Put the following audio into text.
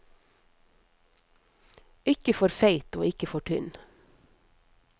Ikke for feit, og ikke for tynn.